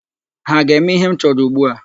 Ha ga-eme ihe m chọrọ ugbu a?